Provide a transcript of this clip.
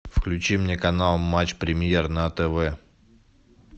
включи мне канал матч премьер на тв